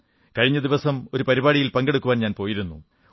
കഴിഞ്ഞ ദിവസം ഒരു പരിപാടിയിൽ പങ്കെടുക്കാൻ പോയിരുന്നു